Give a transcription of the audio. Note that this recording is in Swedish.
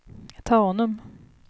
Tanum